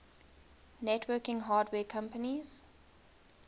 networking hardware companies